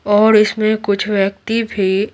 और इसमें कुछ व्यक्ति भी --